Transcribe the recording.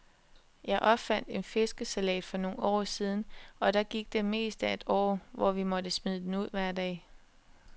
Jeg opfandt en fiskesalat for nogle år siden, og der gik det meste af et år, hvor vi måtte smide den ud hver dag.